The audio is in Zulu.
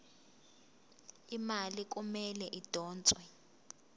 imali kumele idonswe